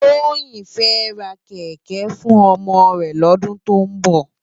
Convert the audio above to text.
Toyin fè rá kèkè fún òmò rè lòdún tó nbò